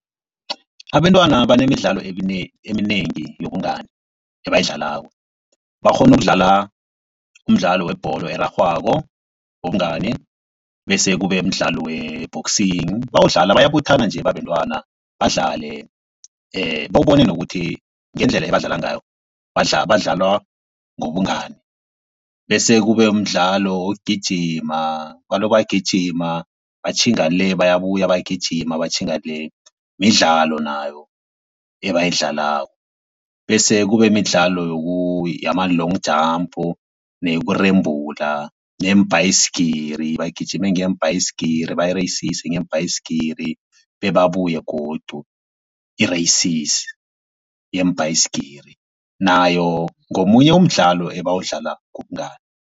Abentwana banemidlalo eminengi yobungani, ebayidlalako. Bakghona ukudlala umdlalo webholo erarhwako, wobungani bese kube mdlalo we-boxing. Bawudlala bayabuthana nje babantwana badlale bewubone nokuthi ngendlela ebadlala ngayo badlalwa ngobungani. Bese kube mdlalo wokugijima baloko bayagijima batjhinga le, bayabuya bayagijima batjhinga le, midlalo nayo ebayidlalako. Bese kube midlalo yama-long jump neyokurembula neyeembhayisigiri bagijime ngeembhayisigiri bareyisise ngeembhayisigiri babuye godu. Ireyisisi yeembhayisigiri nayo ngomunye umdlalo ebawudlalako wobungani.